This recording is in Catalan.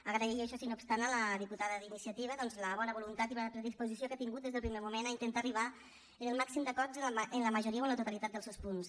agrair això sí no obstant a la diputada d’iniciativa doncs la bona voluntat i bona predisposició que ha tingut des del primer moment a intentar arribar al màxim d’acords en la majoria o en la totalitat dels seus punts